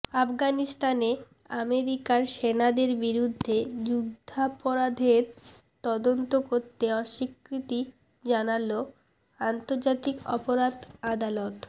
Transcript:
আফগানিস্তানে আমেরিকার সেনাদের বিরুদ্ধে যুদ্ধাপরাধের তদন্ত করতে অস্বীকৃতি জানালো আন্তর্জাতিক অপরাধ আদালত